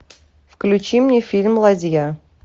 включи мне фильм ладья